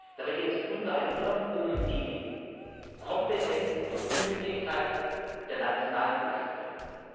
Dabei geht es unter anderem um die Kompetenz und Unabhängigkeit der nationalen Aufsichtsbehörden.